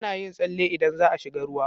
Ana yin tsale idan za a shiga ruwa.